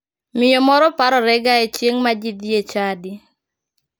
Miyo moro parorega chieng ma ji dhie e chadi.